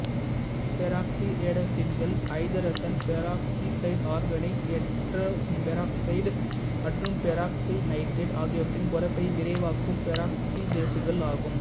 பெராக்சிரெடாக்சின்கள் ஐதரசன் peroxide organic எட்டரோபெராக்சைட் மற்றும் பெராக்சிநைட்ரேட் ஆகியவற்றின் குறைப்பை விரைவாக்கும் பெராக்சிடேசுகள் ஆகும்